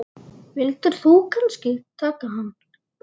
Vildir þú kannski taka hann?